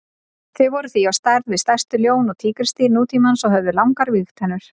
Þau voru því á stærð við stærstu ljón og tígrisdýr nútímans og höfðu langar vígtennur.